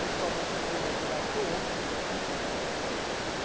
, principalmente do bem material, que o homem precisa, né?